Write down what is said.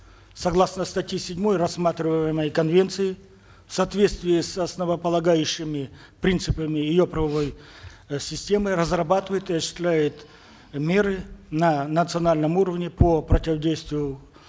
согласно статье седьмой рассматриваемой конвенции в соответствии с основополагающими принципами ее правовой э системы разрабатывает и осуществляет меры на национальном уровне по противодействию